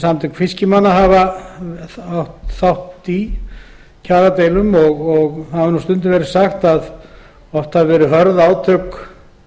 bil tíu mánuði dæmið er tekið úr kjarasamningum samtaka fiskimanna stundum er sagt að oft séu hörð átök